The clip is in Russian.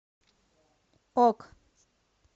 ок